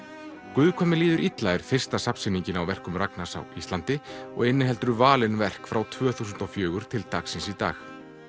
guð hvað mér líður illa er fyrsta á verkum Ragnars á Íslandi og inniheldur valin verk frá tvö þúsund og fjögur til dagsins í dag